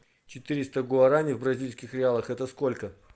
четыреста гуарани в бразильских реалах это сколько